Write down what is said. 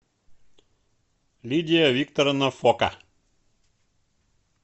лидия викторовна фока